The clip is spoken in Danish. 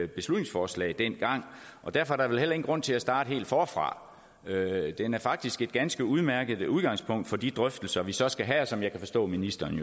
beslutningsforslag dengang og derfor er der vel heller ingen grund til at starte helt forfra den er faktisk et ganske udmærket udgangspunkt for de drøftelser vi så skal have og som jeg kan forstå at ministeren